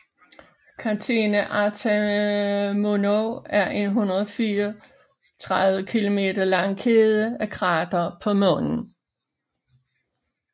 Catena Artamonov er en 134 km lang kæde af kratere på Månen